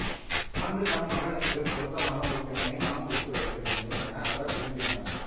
அங்கு தம் மகனுக்குப் பொருத்தமான ஒரு பெண்ணை மணமுடித்து வைக்க வேண்டும் என அவர் விரும்பினார்